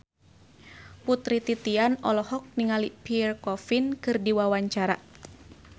Putri Titian olohok ningali Pierre Coffin keur diwawancara